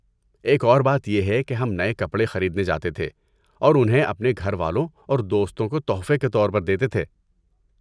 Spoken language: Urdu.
ایک اور بات یہ ہے کہ ہم نئے کپڑے خریدنے جاتے تھے اور انہیں اپنے گھر والوں اور دوستوں کو تحفے کے طور پر دیتے تھے۔